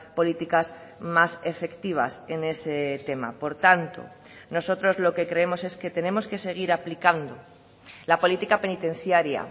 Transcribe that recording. políticas más efectivas en ese tema por tanto nosotros lo que creemos es que tenemos que seguir aplicando la política penitenciaria